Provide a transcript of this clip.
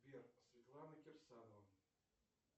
сбер светлана кирсанова